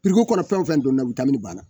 kɔnɔ fɛn o fɛn donna o banna